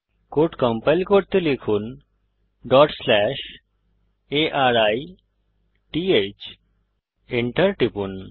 code execute করতে লিখুন arith Enter টিপুন